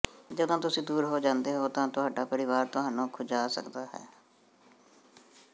ਜਦੋਂ ਤੁਸੀਂ ਦੂਰ ਹੋ ਜਾਂਦੇ ਹੋ ਤਾਂ ਤੁਹਾਡਾ ਪਰਿਵਾਰ ਤੁਹਾਨੂੰ ਖੁੰਝਾ ਸਕਦਾ ਹੈ